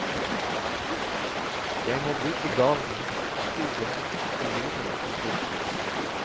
Jeg må bruke garden, skogen og jordene omkring.